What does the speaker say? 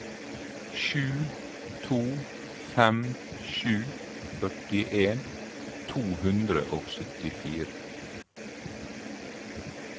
sju to fem sju førtien to hundre og syttifire